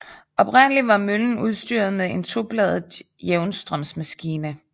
Oprindelig var møllen udstyret med en tobladet jævnstrømsmaskine